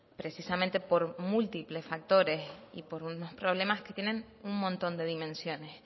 precisamente por múltiples factores y por unos problemas que tienen un montón de dimensiones